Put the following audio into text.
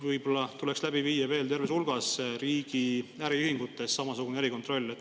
Võib-olla tuleks läbi viia veel terves hulgas riigi äriühingutes samasugune erikontroll.